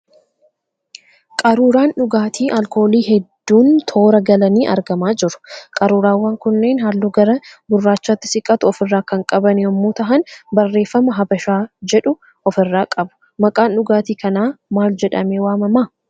Qaruuraan dhugaati alkoolii hedduun toora galanii argamaa jiru. Qaruuraawwan kunneen halluu gara gurraachaatti siqatu ofirraa kan qaban yemmu tahan barreeffama 'Habashaa' jedhu ofirraa qabu. maqaan dhugaatii kanaa maal jedhamee waamama?